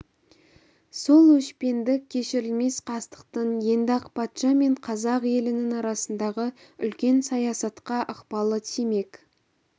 сол өшпендік кешірілмес қастықтың енді ақ патша мен қазақ елінің арасындағы үлкен саясатқа да ықпалы тимек